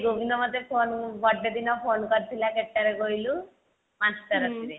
ଗୋବିନ୍ଦ ମୋତେ ଗୋବିନ୍ଦ ମୋତେ phone birthday ଦିନ phone କରିଥିଲା କେତେବେଳେ କହିଲୁ ପାଞ୍ଚ ଟା ରାତିରେ